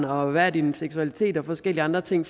og hvad ens seksualitet og forskellige andre ting